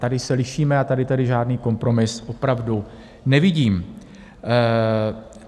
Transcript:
Tady se lišíme a tady tedy žádný kompromis opravdu nevidím.